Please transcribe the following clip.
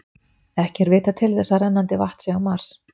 Ekki er vitað til þess að rennandi vatn sé á Mars.